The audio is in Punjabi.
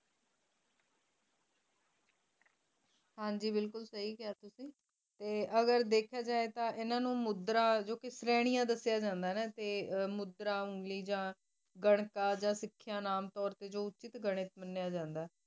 ਹਨ ਜੀ ਬਿਲਕੁਲ ਸਹੀ ਕ੍ਯਾ ਤੁਸੀਂ ਟੀ ਅਗਰ ਦੇਖਿਆ ਜੇਏ ਤਾਂ ਇਹਨਾ ਨੂੰ ਮੁਦਰਾ ਸ੍ਰੈਣੀਆਂ ਦੱਸਿਆਂ ਜਾਂਦਾ ਏਨਾ ਟੀ ਮੁਦ੍ਰਾ ਉਨ੍ਗ੍ਲਿਜਾਂ ਗਨਕ ਅਜ ਸਿਖਯ ਨਾਮ ਤੋਰ ਟੀ ਜੋ ਉਚਾਟ ਘੰਕ ਮਾਨ੍ਯ ਜਾਂਦਾ ਆਏ